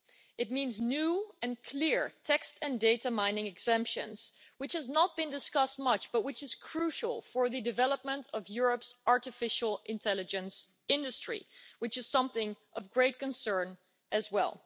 It means new and clear text and data mining exemptions, which has not been discussed much but which is crucial for the development of Europe's artificial intelligence industry, which is something of great concern as well.